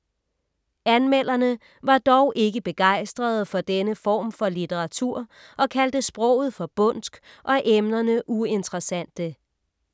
Anmelderne var dog ikke begejstrede for denne form for litteratur og kaldte sproget for bondsk og emnerne uinteressante.